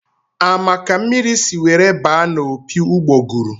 A ma ka mmiri si were baa n'opi ugboguru?